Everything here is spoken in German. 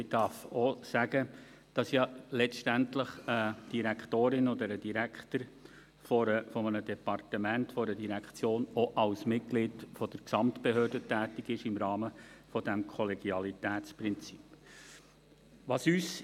Man darf auch sagen, dass eine Direktorin oder ein Direktor eines Departements oder einer Direktion ja letztendlich auch als Mitglied der Gesamtbehörde im Rahmen des Kollegialitätsprinzips tätig ist.